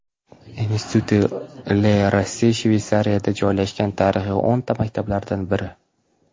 Institut Le Rosey Shveysariyada joylashgan tarixiy o‘rta maktablardan biri.